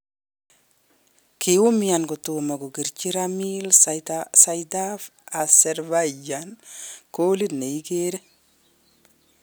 Koumian kotomo kokerchi Ramil Seydaev Azerbaijan kolit neigeree